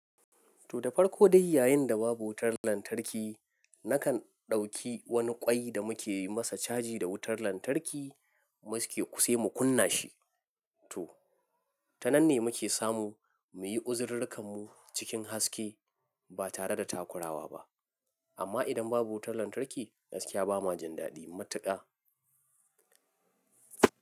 To, da farko dai yayin da babu wutar lantarki, nakan ɗauki wani ƙwai da muke yi masa caji da wutar lantarki, sai mu kunna shi. To, ta nan ne muke samu muyi uzurorin mu cikin haske ba tare da takurawa ba. Amma idan babu wutar lantarki, gaskiya bama jin daɗi matuƙa.